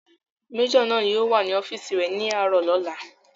Majọ náà yóò wà ní ọ́fìsì rẹ̀ ní àárọ̀ ọ̀la